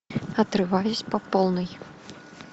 отрываюсь по полной